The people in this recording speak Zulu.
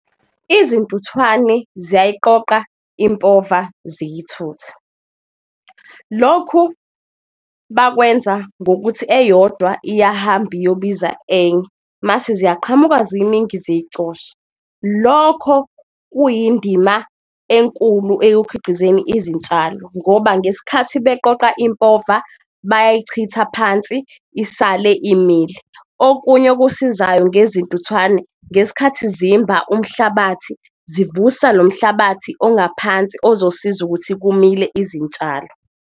Izintuthwane ziyayiqoqa impova, ziyathutha lokhu bakwenza ngokuthi eyodwa iyahamba iyobiza enye, mase ziyaqhamuka ziningi ziyicosha. Lokho kuyindima enkulu izintshalo ngoba ngesikhathi beqoqa impova bayayichitha phansi isale imile. Okunye okusizayo ngezintuthwane ngeskhathi zimba umhlabathi zivusa lo mhlabathi ongaphansi ozosiza ukuthi kumile izintshalo.